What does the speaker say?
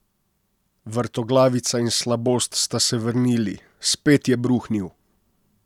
Vrtoglavica in slabost sta se vrnili, spet je bruhnil.